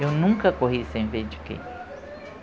Eu nunca corri sem ver de quê.